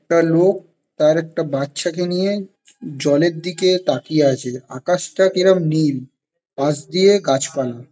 একটা লোক তার একটা বাচ্ছা কে নিয়ে জলের দিকে তাকিয়ে আছে । আকাশটা কেরম নীল পাশ দিয়ে গাছ পালা --